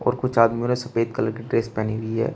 और कुछ आदमी ने सफेद कलर की ड्रेस पेहनी हुई है।